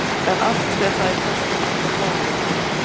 En allt fer það í töskuna okkar góðu.